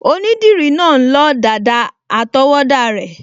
Onídìrí náà n lọ dàda àtọwọ́dá rẹ̀